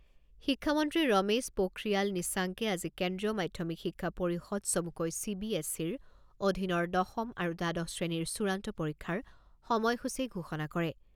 শিক্ষামন্ত্ৰী ৰমেশ পোথ্ৰিয়াল নিশাংকে আজি কেন্দ্ৰীয় মাধ্যমিক শিক্ষা পৰিষদ চমুকৈ চি বি এছ ইৰ অধীনৰ দশম আৰু দ্বাদশ শ্ৰেণীৰ চূড়ান্ত পৰীক্ষাৰ সময় সূচী ঘোষণা কৰে।